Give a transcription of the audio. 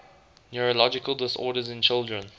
neurological disorders in children